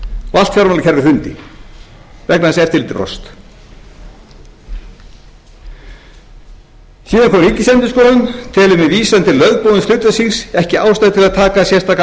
allt fjármálakerfið hrundi vegna þess að eftirlitið brást síðan kom ríkisendurskoðun telur með vísan til lögboðins hlutverks síns ekki ástæðu til að taka sérstaka afstöðu